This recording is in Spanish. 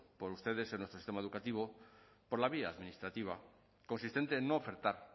por ustedes en nuestro sistema educativo por la vía administrativa consistente en no ofertar